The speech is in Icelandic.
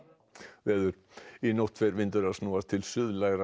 að veðri í nótt fer vindur að snúast til